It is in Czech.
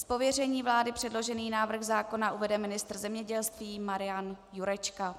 Z pověření vlády předložený návrh zákona uvede ministr zemědělství Marian Jurečka.